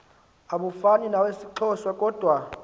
abufana nawesixhosa kodwa